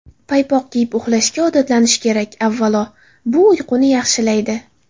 Paypoq kiyib uxlashga odatlanish kerak Avvalo, bu uyquni yaxshilaydi.